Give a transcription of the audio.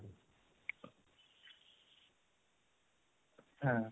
হা